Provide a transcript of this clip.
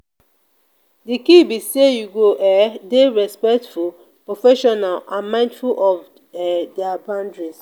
di key be say you go um dey respectful professional and mindful of um dia boundaries.